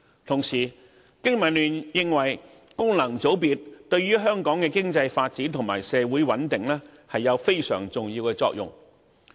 同時，經民聯認為，功能界別對香港的經濟發展和社會穩定有非常重要的作用。